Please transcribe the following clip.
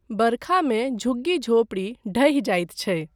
बरखामे झुग्गी झोपड़ी ढहि जाइत छै।